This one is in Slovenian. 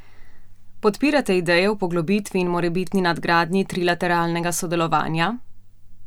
Podpirate ideje o poglobitvi in morebitni nadgradnji trilateralnega sodelovanja?